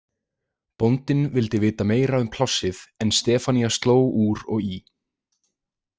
Bóndinn vildi vita meira um plássið en Stefanía sló úr og í.